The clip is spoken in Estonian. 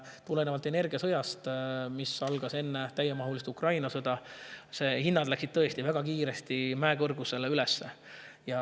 Tulenevalt energiasõjast, mis algas enne täiemahulist Ukraina sõda, läksid hinnad tõesti väga kiiresti üles, mäekõrguseks.